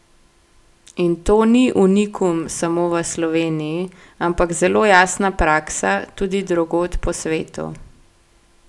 In to ni unikum samo v Sloveniji, ampak zelo jasna praksa tudi drugod po svetu.